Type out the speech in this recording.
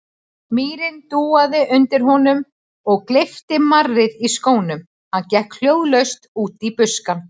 Mýrin dúaði undir honum og gleypti marrið í skónum, hann gekk hljóðlaust út í buskann.